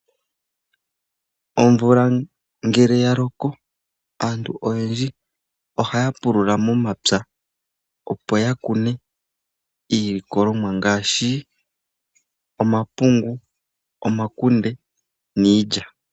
Omvula ngele yaloko, aantu oyendji ohaya pulula momapwa opo ya kune iilikolomwa ngaashi omapungu, omakunde niilya.